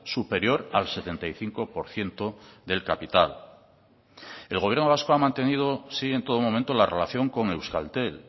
superior al setenta y cinco por ciento del capital el gobierno vasco ha mantenido sí en todo momento la relación con euskaltel